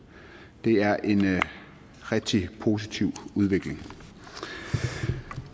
det er en rigtig positiv udvikling